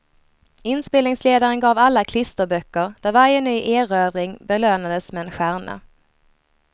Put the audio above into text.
Inspelningsledaren gav alla klisterböcker där varje ny erövring belönades med en stjärna.